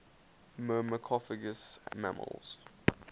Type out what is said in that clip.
myrmecophagous mammals